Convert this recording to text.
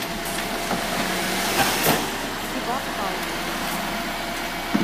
кебаб хаус